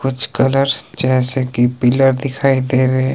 कुछ कलर जैसे कि पिला दिखाई दे रहे।